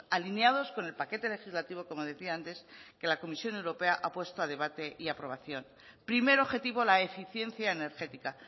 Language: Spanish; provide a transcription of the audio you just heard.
alineados con el paquete legislativo como decía antes que la comisión europea ha puesto a debate y a aprobación primer objetivo la eficiencia energética